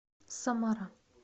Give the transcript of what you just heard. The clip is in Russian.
самара